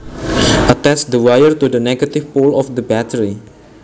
Attach the wire to the negative pole of the battery